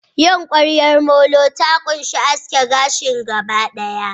yin ƙwaryar molo ta ƙunshi aske gashin gaba ɗaya.